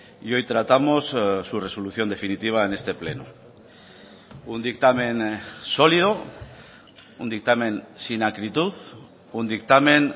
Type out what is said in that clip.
y hoy tratamos su resolución definitiva en este pleno un dictamen sólido un dictamen sin acritud un dictamen